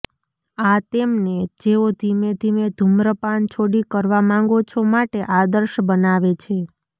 આ તેમને જેઓ ધીમે ધીમે ધુમ્રપાન છોડી કરવા માંગો છો માટે આદર્શ બનાવે છે